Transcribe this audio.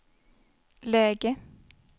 läge